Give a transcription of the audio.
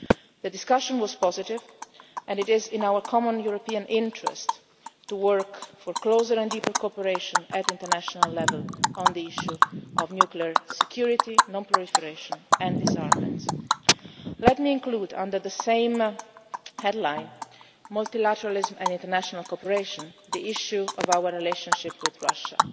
the atomic bomb. The discussion was positive, and it is in our common European interest to work for closer and deeper cooperation at international level on the issue of nuclear security, non proliferation and disarmament. Let me include, under the same headline multilateralism and international cooperation the issue of our relationship